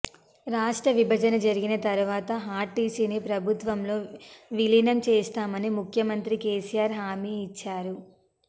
రాష్ట్ర విభజన జరిగిన తర్వాత ఆర్టీసీని ప్రభుత్వంలో విలీనం చేస్తామని ముఖ్యమంత్రి కేసీఆర్ హామీ ఇచ్చారు